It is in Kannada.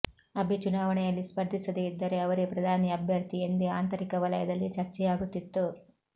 ಅಬೆ ಚುನಾವಣೆಯಲ್ಲಿ ಸ್ಪರ್ಧಿಸದೇ ಇದ್ದರೆ ಅವರೇ ಪ್ರಧಾನಿ ಅಭ್ಯರ್ಥಿ ಎಂದೇ ಆಂತರಿಕ ವಲಯದಲ್ಲಿ ಚರ್ಚೆಯಾ ಗುತ್ತಿತ್ತು